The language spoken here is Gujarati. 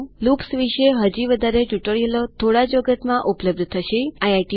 લૂપ્સ વિશે હજી વધારે ટ્યુટોરીયલો થોડા જ વખતમાં ઉપલબ્ધ થશેતો જોતા રહો